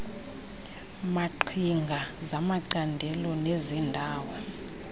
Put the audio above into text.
maqhinga zamacandelo nezeendawo